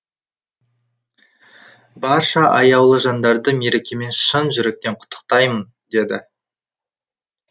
барша аяулы жандарды мерекемен шын жүректен құттықтаймын деді